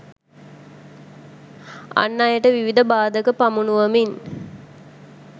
අන් අයට විවිධ බාධක පමුණුවමින්